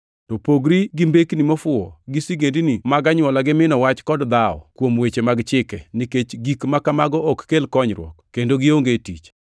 To pogri gi mbekni mofuwo gi sigendini mag anywola gi mino wach kod dhawo kuom weche mag chike, nikech gik ma kamago ok kel konyruok kendo gionge tich.